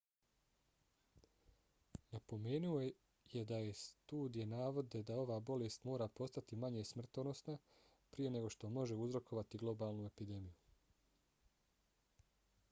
napomenuo je da neke studije navode da ova bolest mora postati manje smrtonosna prije nego što može uzrokovati globalnu epidemiju